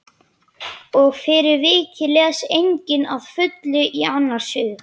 Og fyrir vikið les enginn að fullu í annars hug.